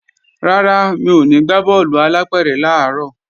Rárá, mi ò ní gbá bọ́ọ̀lù alápẹ̀rẹ̀ làárọ̀